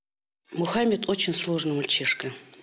мұхаммед очень сложный мальчишка